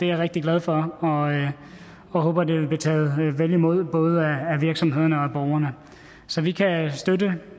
rigtig glad for og jeg håber at det vil blive taget vel imod af både virksomhederne og borgerne så vi kan støtte